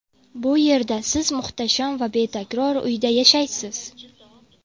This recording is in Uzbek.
Bu yerda siz muhtasham va betakror uyda yashaysiz.